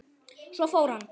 Svo fór hann.